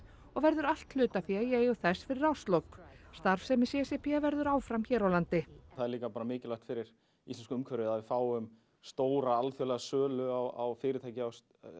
og verður allt hlutafé í eigu þess fyrir árslok starfsemi c c p verður áfram hér á landi það er líka bara mikilvægt fyrir íslenska umhverfið að við fáum stóra alþjóðlega sölu á fyrirtæki af